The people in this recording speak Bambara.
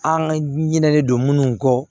An ka ɲinɛlen don munnu kɔ